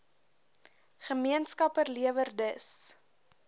gemeenskappe lewer dus